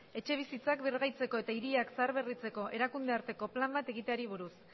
etxebizitzak birgaitzeko eta hiriak zaharberritzeko erakundearteko plan bat egiteari buruz